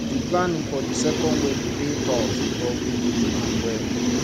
the planning for the wedding dey tough but we go do am well